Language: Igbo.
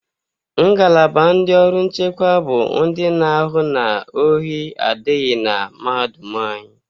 Ngalaba ndị ọrụ nchekwa bụ ndị na-ahụ na ohi adịghị na mahadum anyị.